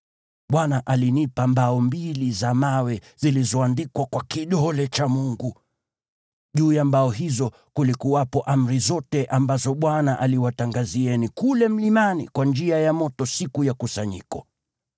Bwana alinipa mbao mbili za mawe zilizoandikwa kwa kidole cha Mungu. Juu ya mbao hizo kulikuwepo amri zote ambazo Bwana aliwatangazia kule mlimani kwa njia ya moto, siku ya kusanyiko.